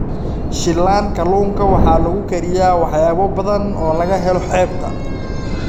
Shiilan kalluunka waxaa lagu kariyaa waxyaabo badan oo laga helo xeebta.